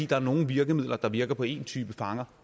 der er nogle virkemidler der virker på en type fanger